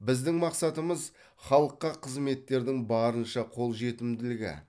біздің мақсатымыз халыққа қызметтердің барынша қол жетімділігі